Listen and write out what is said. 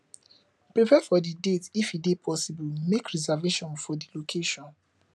prepare for di date if e dey possible make reservation for di location